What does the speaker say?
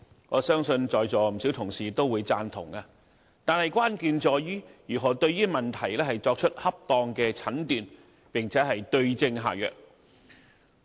我相信在座不少同事都會贊同，但關鍵在於如何對問題作出恰當的診斷並對症下藥。